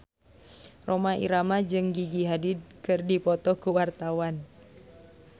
Rhoma Irama jeung Gigi Hadid keur dipoto ku wartawan